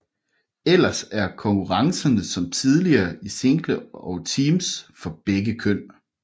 Ellers er konkurrencerne som tidligere i single og teams for begge køn